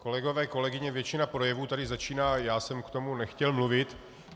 Kolegové, kolegyně, většina projevů tady začíná: já jsem k tomu nechtěl mluvit.